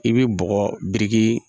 I bɛ bɔgɔ biriki